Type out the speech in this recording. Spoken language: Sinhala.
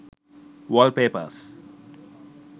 wall papers